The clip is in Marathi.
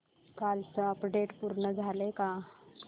कालचं अपडेट पूर्ण झालंय का